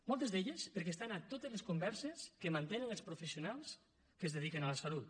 moltes d’elles perquè estan a totes les converses que mantenen els professionals que es dediquen a la salut